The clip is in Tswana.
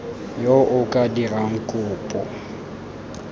yo o ka dirang kopo